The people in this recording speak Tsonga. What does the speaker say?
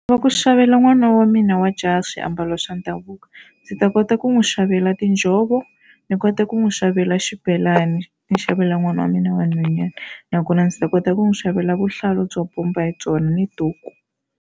Va ku xavela n'wana wa mina wa jaha swiambalo swa ndhavuko. Ndzi ta kota ku n'wi xavela tinjhovo ni kota ku n'wi xavela xibelani ni xavela n'wana wa mina wa nhwanyana nakona ndzi ta kota ku n'wi xavela vuhlalu byo bomba hi byona ni duku.